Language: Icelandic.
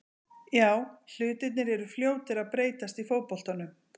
Já, hlutirnir eru fljótir að breytast í fótboltanum.